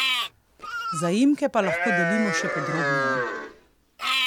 Zaimke pa lahko delimo še podrobneje.